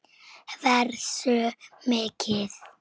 Hversu mikið?